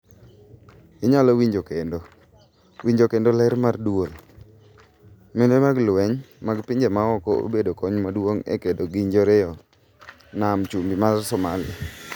Inyalo winjo kendo: Winjo kendo ler mar duol,:Mende mag lweny mag pinje maoko obedo kony maduong' e kedo gi njoreyoo nam chumbi mar Somalia,